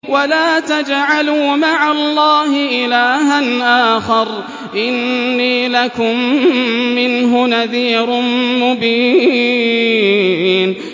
وَلَا تَجْعَلُوا مَعَ اللَّهِ إِلَٰهًا آخَرَ ۖ إِنِّي لَكُم مِّنْهُ نَذِيرٌ مُّبِينٌ